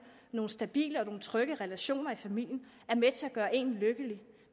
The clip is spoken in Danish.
nogle stabile og trygge relationer i familien er med til at gøre en lykkelig